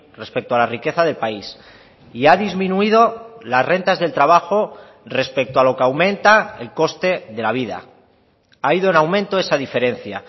respecto a la riqueza del país y ha disminuido las rentas del trabajo respecto a lo que aumenta el coste de la vida ha ido en aumento esa diferencia